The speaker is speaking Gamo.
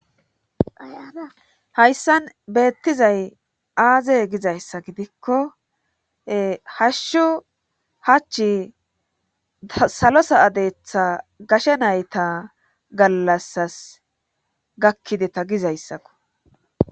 Hayssan beettizay aaze gizayssa gidikko hashshu hachi salosa adeetha gashe nayta gallassas gakkideta gizayssako.